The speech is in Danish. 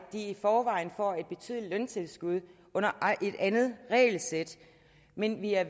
i forvejen får et betydeligt løntilskud under et andet regelsæt men vi er